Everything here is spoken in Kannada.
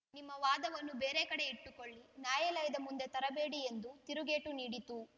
ನಿಮ್ಮ ವಾದವನ್ನು ಬೇರೆ ಕಡೆ ಇಟ್ಟುಕೊಳ್ಳಿ ನ್ಯಾಯಾಲಯದ ಮುಂದೆ ತರಬೇಡಿ ಎಂದು ತಿರುಗೇಟು ನೀಡಿತು